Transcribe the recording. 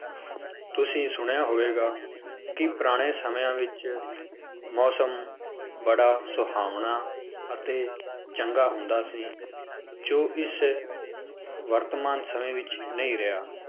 ਤੁਸੀਂ ਸੁਣਿਆ ਹੋਵੇਗਾ, ਕਿ ਪੁਰਾਣੇ ਸਮਿਆਂ ਵਿੱਚ ਮੌਸਮ ਬੜਾ ਸੁਹਾਵਣਾ ਅਤੇ ਚੰਗਾ ਹੁੰਦਾ ਸੀ, ਜੋ ਇਸ ਵਰਤਮਾਨ ਸਮੇਂ ਵਿੱਚ ਨਹੀਂ ਰਿਹਾ।